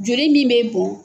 Joli min bɛ bon